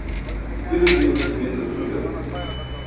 выведи мне на телевизор супер